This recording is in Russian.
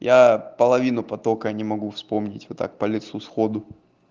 я половину потока не могу вспомнить вот так по лицу сходу